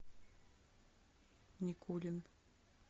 никулин